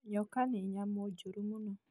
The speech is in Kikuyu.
Nyoka nĩ nyamũ njũru mũno